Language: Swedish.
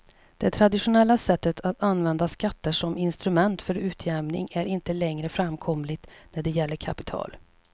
Det traditionella sättet att använda skatter som instrument för utjämning är inte längre framkomligt när det gäller kapital.